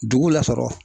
Dugu la sɔrɔ